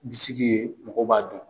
Ji sigi ye mɔgɔ b'a dun.